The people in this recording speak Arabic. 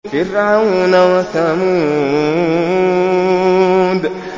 فِرْعَوْنَ وَثَمُودَ